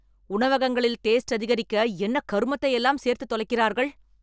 உணவகங்களில் டேஸ்ட் அதிகரிக்க என்ன கருமத்தை எல்லாம் சேர்த்து தொலைக்கிறார்கள்.